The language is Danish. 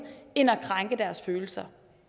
end at krænke deres følelser